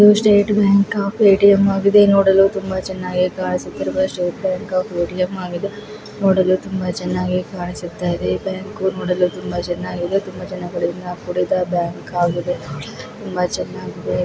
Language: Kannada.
ಇದು ಸ್ಟೇಟ್ ಬ್ಯಾಂಕ್ ಆಫ್ ಎ_ಟಿ_ಮ್ ಆಗಿದೆ ನೋಡಲು ತುಂಬಾ ಚನ್ನಾಗಿ ಕಾಣಿಸುತ್ತಿರುವ ಸ್ಟೇಟ್ ಬ್ಯಾಂಕ್ ಆಫ್ ಎ_ಟಿ_ಮ್ ಆಗಿದೆ ನೋಡಲು ತುಂಬಾ ಚನ್ನಾಗೇ ಕಾಣಿಸುತ್ತಾ ಇದೆ. ಈ ಬ್ಯಾಂಕ್ ನೋಡಲು ತುಂಬಾ ಚನ್ನಾಗಿದೆ ತುಂಬಾ ಜನಗಳಿಂದ ಕೂಡಿದ ಬ್ಯಾಂಕ್ ಆಗಿದೆ ನೋಡಲು ತುಂಬಾ ಚನ್ನಾಗಿದೆ.